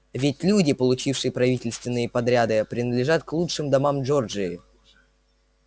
ведь люди получившие правительственные подряды принадлежат к лучшим домам джорджии